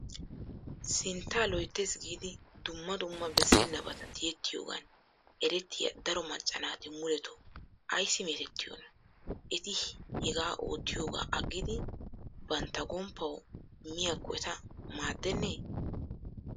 Sintta loyttes giid dumma dumma bessenabata tiyyetiyoogan erettiya daro macca naati muletooa ayssi metootiyooma? Eti hega oottiyooga agidi namtta gomppaw miyakkko eta maademme?